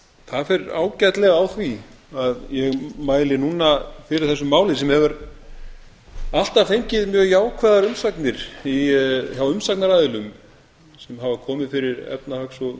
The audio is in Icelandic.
það fer ágætlega á því að ég mæli núna fyrir þessu máli sem hefur alltaf fengið megi jákvæðar umsagnir hjá umsagnaraðilum sem hafa komið fyrir efnahags og